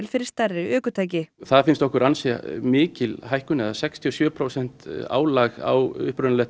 fyrir stærri ökutæki það finnst okkur ansi mikil hækkun eða sextíu og sjö prósent álag á